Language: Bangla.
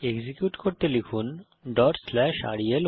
এক্সিকিউট করতে লিখুন রেল1